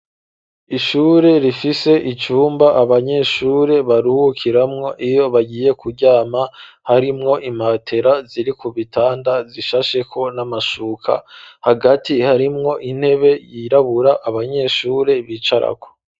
ishure rifise icumba abanyeshure baruhukiramwo iyo bagiye kuryama, harimwo imatera ziri kubitanda zishasheko n'amashuka, hagati harimwo intebe yirabura abanyeshure bicarako.